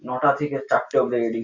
নটা থেকে চারটে অব্দি রেডি ।